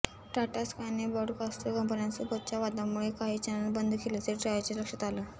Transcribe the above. टाटा स्कायने ब्रॉडकास्टर कंपन्यांसोबतच्या वादामुळे काही चॅनेल बंद केल्याचे ट्रायच्या लक्षात आलं